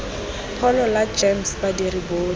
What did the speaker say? pholo la gems badiri botlhe